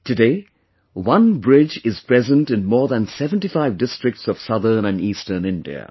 Today, OneBridge is present in more than 75 districts of southern and eastern India